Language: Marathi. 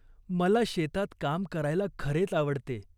मला शेतात काम करायला खरेच आवडते.